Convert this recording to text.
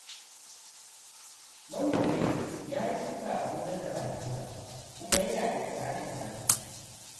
Manomin ya yi shuka a gonar da ba tasa ba, kuma yana iƙirarin tasa ce.